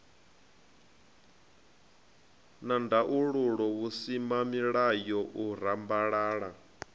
na ndaulo vhusimamilayo u rambalala